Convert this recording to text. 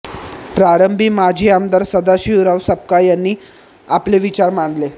प्रारंभी माजी आमदार सदाशिवराव सपकाळ यांनी आपले विचार मांडले